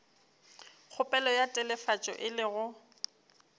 kgopelo ya telefatšo e lego